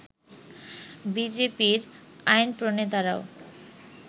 বিজেপির আইনপ্রণেতারাও